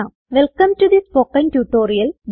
welcome to the spoken tutorial